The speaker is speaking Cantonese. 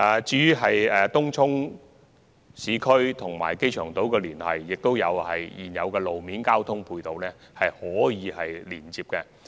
至於東涌、市區和機場島的連繫，現有的道路交通配套可提供連接。